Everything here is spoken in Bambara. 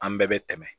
An bɛɛ bɛ tɛmɛ